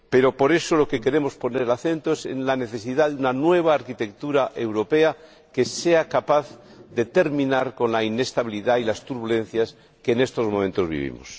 Pero, por eso, en lo que queremos poner el acento es en la necesidad de una nueva arquitectura europea que sea capaz de terminar con la inestabilidad y las turbulencias que en estos momentos vivimos.